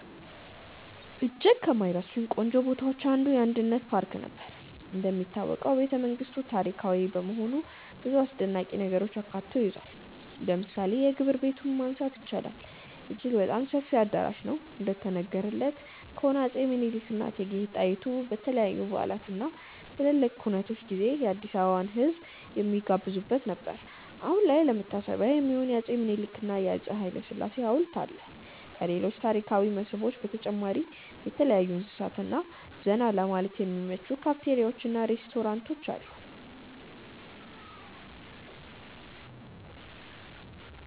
እጅግ ከማይረሱኝ ቆንጆ ቦታዎች አንዱ: የአንድነት ፓርክ ነበር። እንደሚታወቀው ቤተመንግስቱ ታሪካዊ በመሆኑ ብዙ አስደናቂ ነገሮችን አካቶ ይዟል። ለምሳሌ የግብር ቤቱን ማንሳት ይቻላል፦ አጅግ በጣም ሰፊ አዳራሽ ነው፤ እንደተነገረን ከሆነ አፄ ምኒልክ እና እቴጌ ጣይቱ በተለያዩ በዓላት እና ትላልቅ ኩነቶች ጊዜ የአዲስአበባን ህዝብ የሚጋብዙበት ነበር። አሁን ላይ ለመታሰቢያ የሚሆን የአፄ ምኒልክ እና የአፄ ሀይለስላሴ ሀውልት አለ። ከሌሎች ታሪካዊ መስህቦች በተጨማሪ የተለያዩ እንስሳት እና ዘና ለማለት የሚመቹ ካፍቴሪያዎች እና ሬስቶራንቶች አሉ።